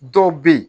Dɔw bɛ yen